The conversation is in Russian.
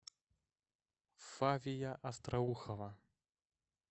фавия остроухова